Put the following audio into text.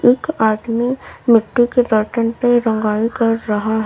एक आदमी मिट्टी के बर्तन पे रंगाई कर रहा है।